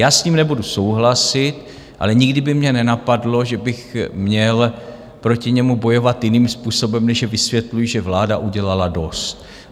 Já s tím nebudu souhlasit, ale nikdy by mě nenapadlo, že bych měl proti němu bojovat jiným způsobem, než že vysvětluji, že vláda udělala dost.